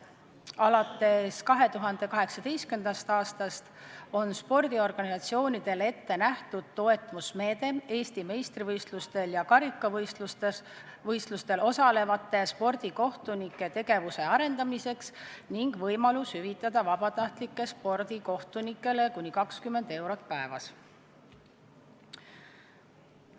Alates 2018. aastast on spordiorganisatsioonidele ette nähtud toetusmeede Eesti meistrivõistlustel ja karikavõistlustel osalevate spordikohtunike tegevuse arendamiseks ning võimalus hüvitada vabatahtlikele spordikohtunikele kuni 20 eurot päevas.